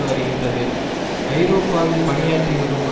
வருகின்றது ஐரோப்பாவில் பணியாற்றி வரும்